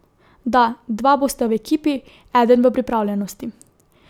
Da, dva bosta v ekipi, eden v pripravljenosti.